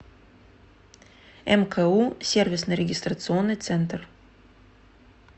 мку сервисно регистрационный центр